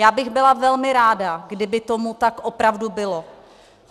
Já bych byla velmi ráda, kdyby tomu tak opravdu bylo.